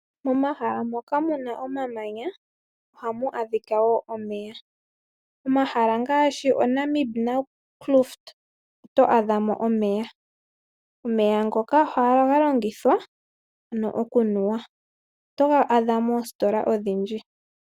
Momahala moka muna omamanya ohamu adhika wo omeya. Omahala ngaashi oNamib Fraunfurt oto adhamo omeya. Omeya ngoka ohaga longithwa ano okunuwa, oto ga adha moositola odhindji.